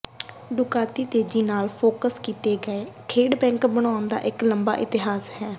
Ducati ਤੇਜ਼ੀ ਨਾਲ focus ਕੀਤੇ ਗਏ ਖੇਡਬੈਕ ਬਣਾਉਣ ਦਾ ਇੱਕ ਲੰਬਾ ਇਤਿਹਾਸ ਹੈ